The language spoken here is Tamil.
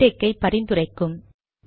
மிக்டெக்கை பரிந்துரைக்கும்